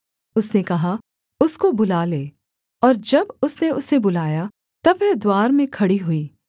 उसने कहा उसको बुला ले और जब उसने उसे बुलाया तब वह द्वार में खड़ी हुई